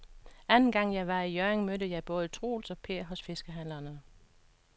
Anden gang jeg var i Hjørring, mødte jeg både Troels og Per hos fiskehandlerne.